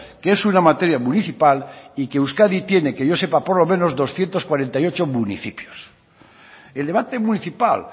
que es una materia municipal y que euskadi tiene que yo sepa por lo menos doscientos cuarenta y ocho municipios el debate municipal